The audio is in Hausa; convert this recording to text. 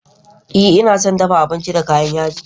Ee, ina son dafa abinci da kayan yaji